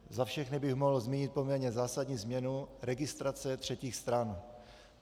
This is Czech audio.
Za všechny bych mohl zmínit poměrně zásadní změnu - registrace třetích stran.